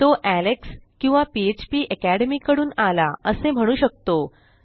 तो एलेक्स किंवा फ्पाकॅडमी कडून आला असे म्हणू शकतो